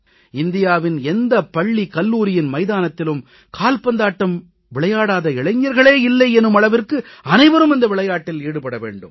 இந்தியாவின் எந்த பள்ளிகல்லூரியின் மைதானத்திலும் கால்பந்தாட்டம் விளையாடாத இளைஞர்களே இல்லை எனும் அளவிற்கு அனைவரும் இந்த விளையாட்டில் ஈடுபட வேண்டும்